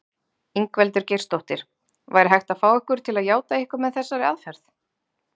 Ingveldur Geirsdóttir: Væri hægt að fá ykkur til játa eitthvað með þessari aðferð?